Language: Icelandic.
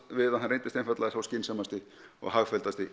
við að hann reyndist einfaldlega sá skynsamasti og